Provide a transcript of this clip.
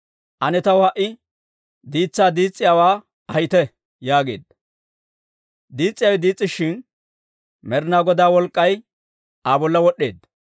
Ane taw ha"i diitsaa diis's'iyaawaa ahite» yaageedda. Diis's'iyaawe diis's'ishin, Med'ina Godaa wolk'k'ay Aa bolla wod'd'eedda.